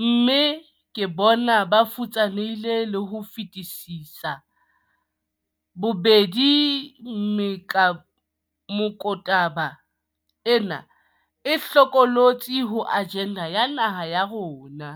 mme ke bona ba futsanehileng ka ho fetisisa. Bobedi mekotaba ena e hlokolotsi ho ajenda ya naha ya rona.